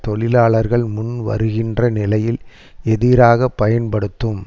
தொழிலாளர்கள் முன்வருகின்ற நிலையில் எதிராக பயன்படுத்தும்